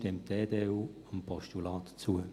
Deshalb stimmt die EDU dem Postulat zu.